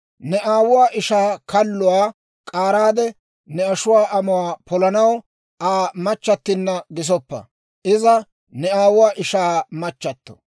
Ne aawuwaa ishaa kalluwaa k'aaraade ne ashuwaa amuwaa polanaw Aa machchattinna gisoppa; iza ne aawuwaa ishaa machchato.